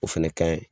O fɛnɛ ka ɲi